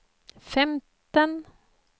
femten